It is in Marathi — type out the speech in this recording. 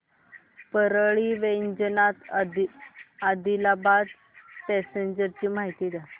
परळी वैजनाथ आदिलाबाद पॅसेंजर ची माहिती द्या